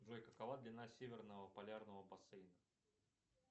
джой какова длина северного полярного бассейна